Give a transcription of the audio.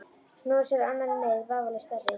Snúið sér að annarri neyð, vafalaust stærri.